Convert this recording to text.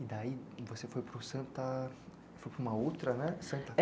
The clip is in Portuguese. E daí, você foi para o Santa... foi para uma outra, né? Santa